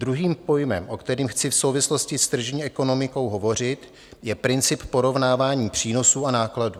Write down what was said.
Druhým pojmem, o kterém chci v souvislosti s tržní ekonomikou hovořit, je princip porovnávání přínosů a nákladů.